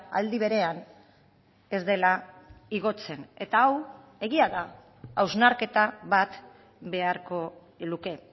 aldi berean ez dela igotzen eta hau egia da hausnarketa bat beharko luke